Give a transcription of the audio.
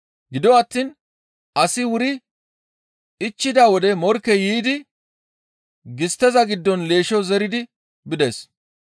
Gido attiin asi wuri ichchida wode morkkey yiidi gistteza giddon leeshsho zeridi bides.